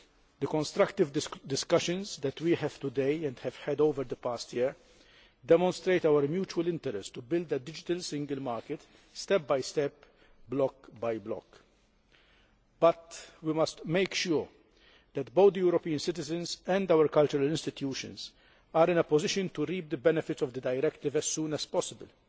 The constructive discussions that we have today and have had over the past year demonstrate our mutual interest in building a digital single market, step by step, block by block, but we must make sure that both European citizens and our cultural institutions are in a position to reap the benefits of the directive as soon as possible.